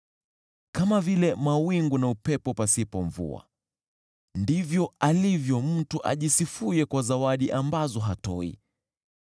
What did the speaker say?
Kama vile mawingu na upepo pasipo mvua ndivyo alivyo mtu ajisifuye kwa zawadi ambazo hatoi.